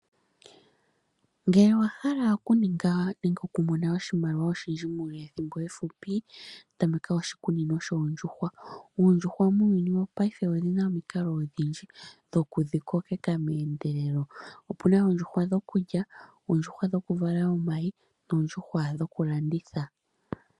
Ngele owa hala oku ninga nenge okumona oshimaliwa oshindji muule we thimbo efupi tameka oshikunino shoondjuhwa, ondjuhwa muuyuni wo payife odhina omikalo odhindji dhoku dhikokeka meendelelo , opuna oondjuhwa dhokulya, oondjuhwa dhokuvala omayi noondjuhwa dhokulandithwa.